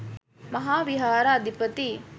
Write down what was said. මහා විහාර අධිපති